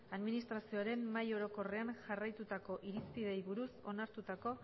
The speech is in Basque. administrazioaren mahai orokorrean jarraitutako irizpideei buruz onartutako